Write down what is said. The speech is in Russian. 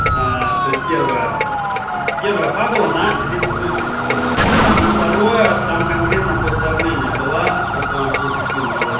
то есть первое первая фабула на сердечно-сосудистую систему и второе там конкретно под давление была сейчас я вам всё это скину сюда